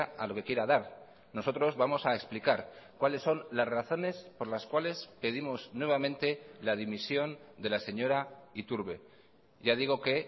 a lo que quiera dar nosotros vamos a explicar cuáles son las razones por las cuales pedimos nuevamente la dimisión de la señora iturbe ya digo que